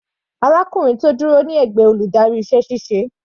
Arákùnrin tó dúró ní ẹ̀gbẹ́ adarí iṣẹ́ ṣíṣe.